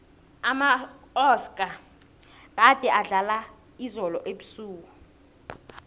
amaoscar gade adlala izolo ebusuku